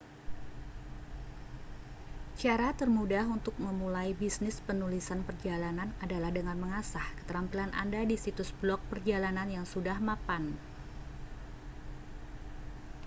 cara termudah untuk memulai bisnis penulisan perjalanan adalah dengan mengasah keterampilan anda di situs blog perjalanan yang sudah mapan